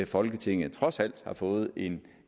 folketinget trods alt har fået en